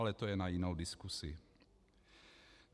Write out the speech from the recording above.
Ale to je na jinou diskusi.